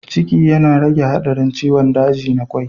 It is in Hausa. Ciki yana rage haɗarin ciwon daji na kwai